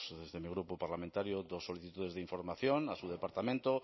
desde mi grupo parlamentario dos solicitudes de información a su departamento